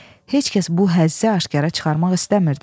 Heç kəs bu həzzi aşkara çıxarmaq istəmirdi.